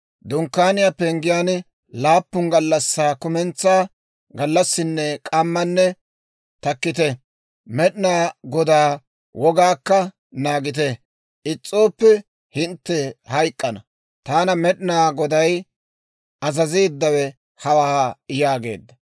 Dunkkaaniyaa penggiyaan laappun gallassaa kumentsaa gallassinne k'ammanne takkite; Med'inaa Godaa wogaakka naagite; is's'ooppe hintte hayk'k'ana. Taana Med'inaa Goday azazeeddawe hawaa» yaageedda.